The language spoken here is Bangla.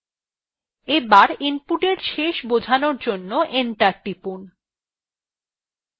এবার input শেষ বোঝানোর জন্য enter টিপুন